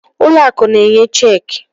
Ụlọ akụ na-enye cheekị.